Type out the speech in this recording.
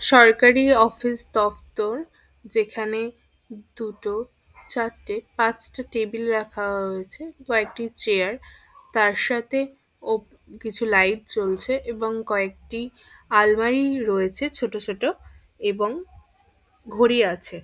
সরকারি অফিস দফ্তর যেখানে দুটোচারটেপাঁচটা টেবিল রাখা রয়েছে কয়েকটি চেয়ার তারসাথে ও কিছু লাইট জ্বলছে এবং কয়েকটি আলমারি রয়েছে ছোট ছোট এবং ঘড়ি আছে।